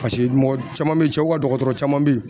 mɔgɔ caman bɛ yen sɛw ka dɔgɔtɔrɔ caman bɛ yen